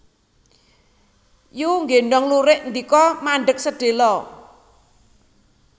Yu nggéndhong lurik ndika mandheg sedhéla